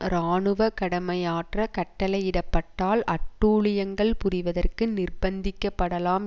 இராணுவ கடமையாற்ற கட்டளையிடப்பட்டால் அட்டூழியங்கள் புரிவதற்கு நிர்பந்திக்க படலாம்